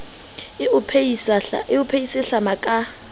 e o phehise hlama ka